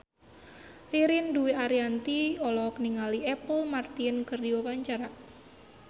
Ririn Dwi Ariyanti olohok ningali Apple Martin keur diwawancara